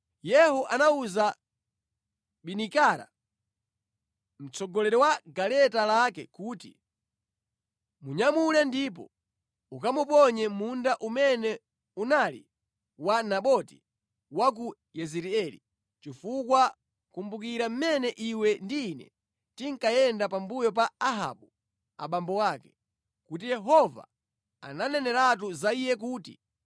Yehu anawuza Bidikara, mtsogoleri wa galeta lake kuti, “Munyamule ndipo ukamuponye mʼmunda umene unali wa Naboti wa ku Yezireeli, chifukwa kumbukira mmene iwe ndi ine tinkayenda pambuyo pa Ahabu abambo ake, kuti Yehova ananeneratu za iye kuti,